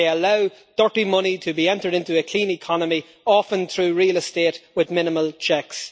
They allow dirty money to be entered into a clean economy, often through real estate with minimal checks.